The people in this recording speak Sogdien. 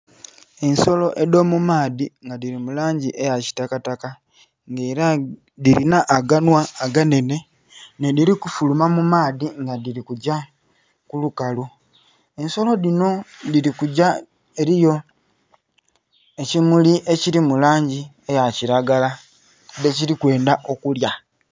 Ensolo edho mu maadhi nga dhili mu langi eya kitakataka nga era dhilina aganhwa aganene nhe dhili kufuluma mu maadhi nga dhili kugya ku lukalu ensolo dhinho dhili kugya eriyo ekimuli ekili mu langi eya kilagala dhe kili kwendha okulya.